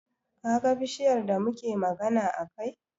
Kaga bishiyar da muke magana a kai?